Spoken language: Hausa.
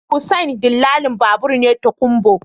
Hussein dillalin babur ne tokunbo